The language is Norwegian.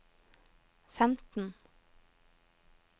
femten